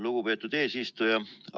Lugupeetud eesistuja!